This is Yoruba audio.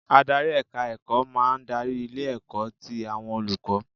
Adarí èka ẹ̀kọ́ máa ń darí ilé ẹ̀kọ́ ti àwọn olùkọ́